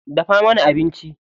Dafa mana abinci.